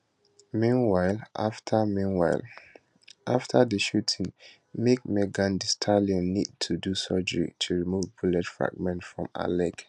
meanwhile after meanwhile after di shooting make megan thee stallion need to do surgery to remove bullet fragments from her leg